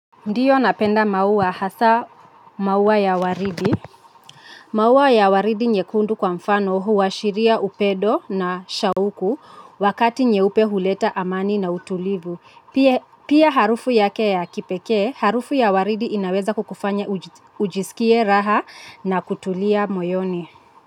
Ndio napenda maua hasa maua ya waridi. Maua ya waridi nyekundu kwa mfano huashiria upendo na shauku wakati nyeupe huleta amani na utulivu. Pia harufu yake ya kipekee, harufu ya waridi inaweza kukufanya ujisikie raha na kutulia moyoni.